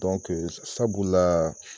Dɔnke sabu la